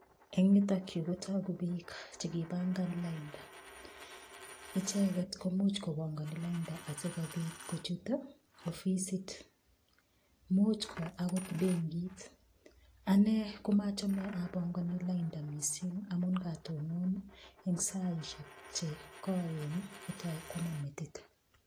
Eng' yutokyu kotoku biik chekibangan lainda icheget komuuch kobongoni lainda asikobit kochut ofisit muuch ko akot benkit ane komachome abongoni lainda mising' amun ngatonon eng' saishek chekoen kotoi kwama metit